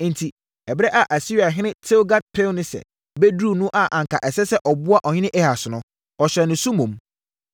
Enti, ɛberɛ a Asiriahene Tilgat-Pilneser bɛduruiɛ no a anka ɛsɛ sɛ ɔboa ɔhene Ahas no, ɔhyɛɛ no so mmom.